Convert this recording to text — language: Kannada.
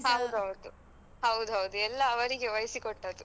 ಹೌದು ಹೌದು. ಹೌದು ಹೌದು ಎಲ್ಲಾ ಅವರಿಗೆ ವಹಿಸಿ ಕೊಟ್ಟದ್ದು.